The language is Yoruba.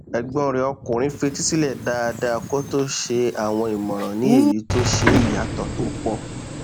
ẹgbọn rẹ ọkùnrin fetísílẹ dáadáa kó tó ṣe àwọn ìmọràn ní èyí tó ṣe ìyàtọ tó pọ